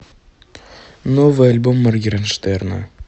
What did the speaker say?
новый альбом моргенштерна